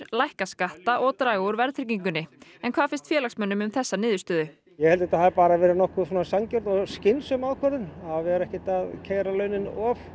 lækka skatta og draga úr verðtryggingunni en hvað finnst félagsmönnum um þessa niðurstöðu ég held að þetta hafi bara verið nokkuð sanngjörn og skynsöm ákvörðun að vera ekkert að keyra launin